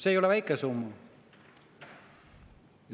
See ei ole väike summa.